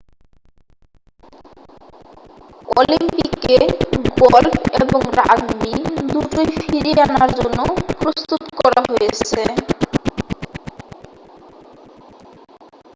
অলিম্পিকে গলফ এবং রাগবি দুটোই ফিরিয়ে আনার জন্য প্রস্তুত করা হয়েছে